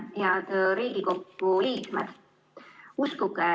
Head Riigikogu liikmed!